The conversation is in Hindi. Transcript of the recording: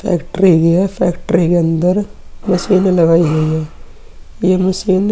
फैक्ट्री ही है। फैक्ट्री के अंदर मशीनें लगाई हुयी हैं। यह मशीन --